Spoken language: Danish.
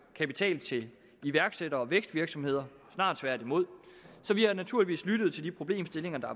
kapital til iværksættere og vækstvirksomheder snarere tværtimod så vi har naturligvis lyttet til de problemstillinger der